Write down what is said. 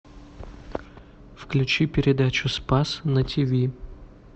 включи передачу спас на тиви